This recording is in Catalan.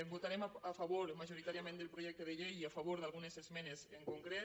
votarem a favor majoritàriament del projecte de llei i a favor d’algunes esmenes en concret